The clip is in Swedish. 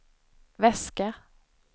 väska